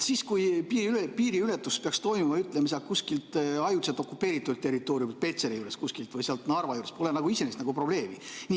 Siis, kui piiriületus peaks toimuma, ütleme, sealt kuskilt ajutiselt okupeeritud territooriumilt Petseri juures või sealt Narva juurest, pole nagu iseenesest probleemi.